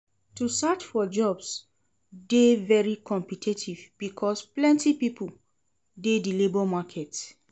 To search for jobs de dey very competitive because plenty pipo de di labour market